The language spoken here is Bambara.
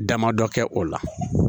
Damadɔ kɛ o la